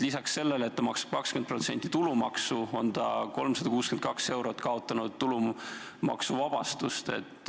Lisaks sellele, et ta maksab 20% tulumaksu, on ta kaotanud 362 eurot tulumaksuvabastust.